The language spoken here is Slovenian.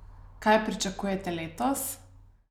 Kaj pričakujete letos?